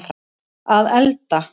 að elda